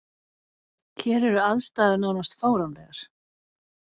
Hér eru aðstæður nánast fáránlegar.